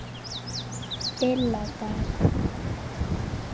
BILLA DAL